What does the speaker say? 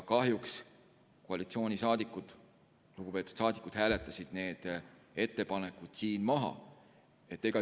Kahjuks lugupeetud koalitsioonisaadikud hääletasid need ettepanekud maha.